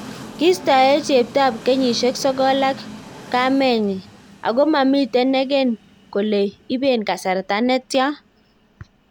Kistae chepto ap kengishek sokol ak kamenyi, ako mamiten neken kole ipen kasarta netyan.